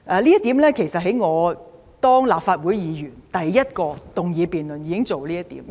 這點其實在我出任立法會議員進行第一項議案辯論時已經提出。